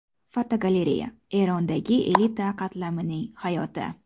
Fotogalereya: Erondagi elita qatlamining hayoti.